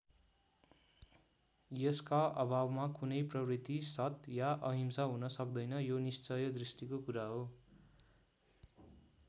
यसका अभावमा कुनै प्रवृत्ति सत् या अहिंसा हुन सक्दैन यो निश्चय दृष्टिको कुरा हो।